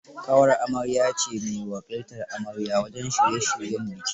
Ƙawar amarya ce me wakiltar amarya wajen shirye shiryen biki.